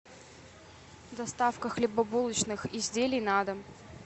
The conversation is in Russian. доставка хлебобулочных изделий на дом